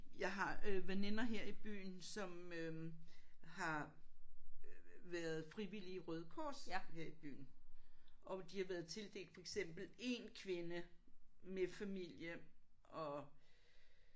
Jeg har øh veninder her i byen som øh har været frivillige i Røde Kors her i byen og de har været tildelt for eksempel en kvinde med familie og